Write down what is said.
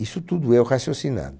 Isso tudo eu raciocinando.